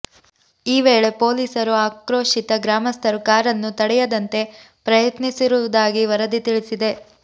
ಈ ವೇಳೆ ಪೊಲೀಸರು ಆಕ್ರೋಶಿತ ಗ್ರಾಮಸ್ಥರು ಕಾರನ್ನು ತಡೆಯದಂತೆ ಪ್ರಯತ್ನಿಸಿರುವುದಾಗಿ ವರದಿ ತಿಳಿಸಿದೆ